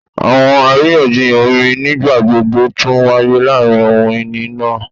Awọn ariyanjiyan omi nigbagbogbo tun waye laarin ohun-ini naa